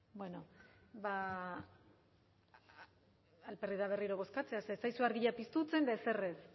bueno alperrik da berriro bozkatzea ze ez zaizue argia piztutzen eta erzer ez